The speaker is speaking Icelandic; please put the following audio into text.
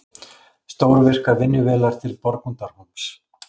Stórvirkar vinnuvélar til Borgundarhólms